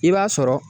I b'a sɔrɔ